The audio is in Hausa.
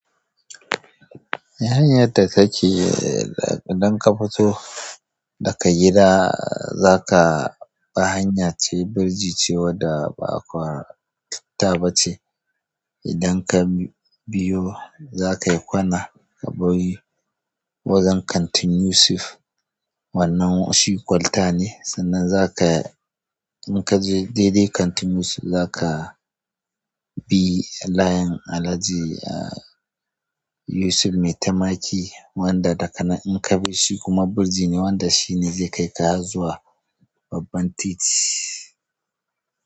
Hanyadda kake, idan ka fito daka gida, zaka bi hanya ce, birji ce wadda ba kwalta bace. Idan ka biyo, zakayi kwana ka bai wajen kantin Yusuf, wannan shi kwalta ne. Sannan zaka, inkaje daidai kantin Yusuf, zaka bi layin Alhaji Yusuf Maitamaki wanda dakana-- inka bi shi kuma birji ne wanda shi ne zai kaika hazzuwa babban titi.